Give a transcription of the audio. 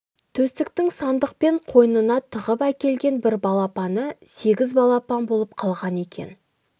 төстіктің сандықпен қойнына тығып әкелген бір балапаны сегіз балапан болып қалған екен